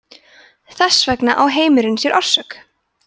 þess vegna á heimurinn sér orsök